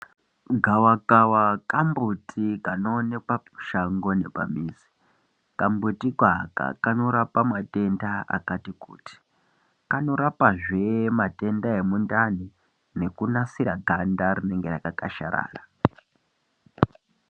Gavakava kambuti kanoonekwa mushango nepamizi kambutiiko aka kanorapa matenda akati kuti kanorapazve matenda emundani nekunasira ganda rinenge rakakwasharara.